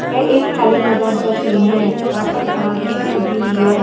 यह एक खाली मैदान का सीन है यहाँ पर घास भी उगी हुई है।